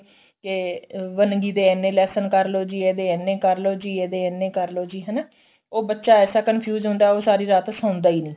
ਤੇ ਅਹ ਵੰਨਗੀ ਦੇ ਇੰਨੇ lesson ਕਰਲੋ ਜੀ ਇਹਦੇ ਇੰਨੇ ਕਰਲੋ ਜੀ ਇਹਦੇ ਇੰਨੇ ਕਰਲੋ ਜੀ ਹਨਾ ਉਹ ਬੱਚਾ ਐਸਾ confuse ਹੁੰਦਾ ਉਹ ਸਾਰੀ ਰਾਤ ਸੋਂਦਾ ਈ ਨੀ